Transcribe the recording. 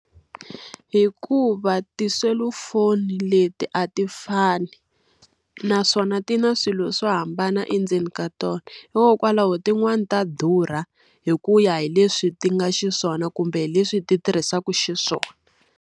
Hikuva tiselufoni leti a ti fani, naswona ti na swilo swo hambana endzeni ka tona. Hikokwalaho tin'wani ta durha hi ku ya hi leswi ti nga xiswona kumbe leswi ti tirhisaka xiswona.